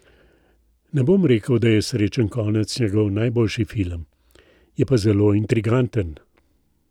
Ne bom rekel, da je Srečen konec njegov najboljši film, je pa zelo intriganten.